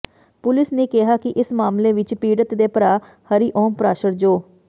police ਨੇ ਕਿਹਾ ਕਿ ਇਸ ਮਾਮਲੇ ਵਿਚ ਪੀੜਤ ਦੇ ਭਰਾ ਹਰੀਓਮ ਪਰਾਸ਼ਰ ਜੋ